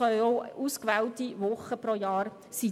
Es können ausgewählte Wochen pro Jahr sein.